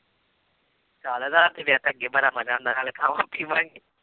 ਚੱਲ ਰਾਤ ਦੇ ਵਿਆਹ ਤਾਂ ਅੱਗੇ ਬੜਾ ਮਜ਼ਾ ਆਉਂਦਾ ਨਾਲੇ ਖਾਵਾਂ ਪੀਵਾਂਗੇ